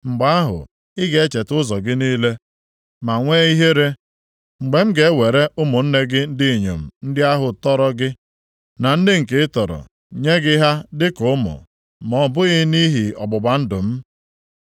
Mgbe ahụ, ị ga-echeta ụzọ gị niile, ma nwee ihere, mgbe m ga-ewere ụmụnne gị ndị inyom ndị ahụ tọrọ gị na ndị nke ị tọrọ nye gị ha dịka ụmụ, ma ọ bụghị nʼihi ọgbụgba ndụ m.